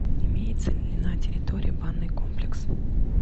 имеется ли на территории банный комплекс